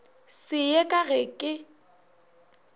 se ye ka ge ke